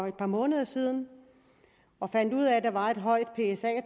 et par måneder siden og fandt ud af at der var et højt